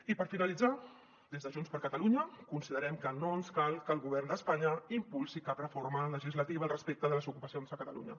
i per finalitzar des de junts per catalunya considerem que no ens cal que el govern d’espanya impulsi cap reforma legislativa respecte de les ocupacions a catalunya